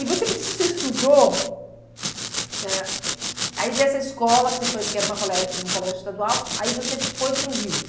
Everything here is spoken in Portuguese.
E você me disse que você estudou, ãh, aí dessa escola que você foi, porque era uma colé um colégio estadual, aí você foi para o Rio?